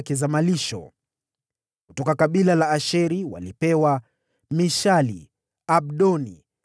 kutoka kabila la Asheri walipewa, Mishali, Abdoni,